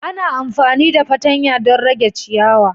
Ana amfani da fatanya don rage ciyawa